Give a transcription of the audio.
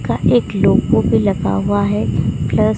का एक लोगो भी लगा हुआ है प्लस --